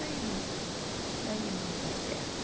Daí não... Daí não deu certo.